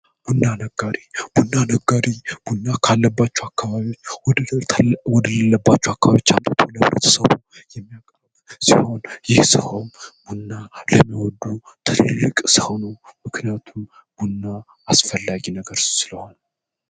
ቡና ነጋዴ ቡና ነጋዴ ቡና ካለባቸው አካባቢዎች ወደሌለባቸው አምጦ ህብረተሰብ የሚያከፋፍል ሲሆን ይህ ሰውም ቡና የሚወዱ ምክንያቱም ቡና አስፈላጊ ነው።